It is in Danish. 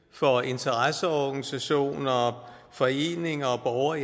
for interesseorganisationer foreninger og